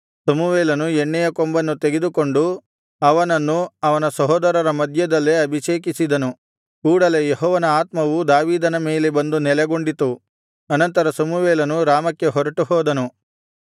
ಸಮುವೇಲನು ಎಣ್ಣೆಯ ಕೊಂಬನ್ನು ತೆಗೆದುಕೊಂಡು ಅವನನ್ನು ಅವನ ಸಹೋದರರ ಮಧ್ಯದಲ್ಲೇ ಅಭಿಷೇಕಿಸಿದನು ಕೂಡಲೆ ಯೆಹೋವನ ಆತ್ಮವು ದಾವೀದನ ಮೇಲೆ ಬಂದು ನೆಲೆಗೊಂಡಿತು ಅನಂತರ ಸಮುವೇಲನು ರಾಮಕ್ಕೆ ಹೊರಟುಹೋದನು